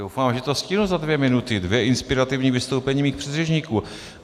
Doufám, že to stihnu za dvě minuty, dvě inspirativní vystoupení mých předřečníků.